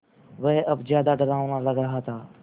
वह अब ज़्यादा डरावना लग रहा था